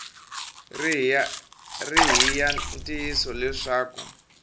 ri hi ya ntiyiso leswaku